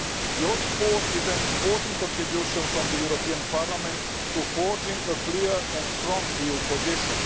Your report is an important contribution from Parliament to forging a clear and strong EU position.